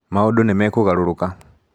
Maũndũ nĩ mekũgarũrũka.